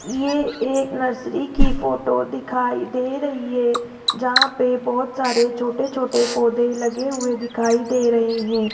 ये एक नर्सरी की फोटो दिखाई दे रही है जहां पे बहोत सारे छोटे छोटे पौधे लगे हुए दिखाई दे रहे हैं।